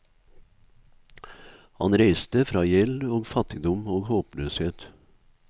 Han reiste fra gjeld og fattigdom og håpløshet.